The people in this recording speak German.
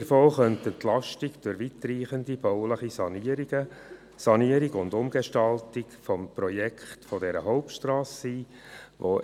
Eine davon könnte eine Entlastung durch eine weitreichende bauliche Sanierung und Umgestaltung dieser Hauptstrasse sein.